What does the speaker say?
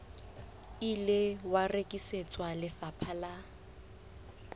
ile wa rekisetswa lefapha la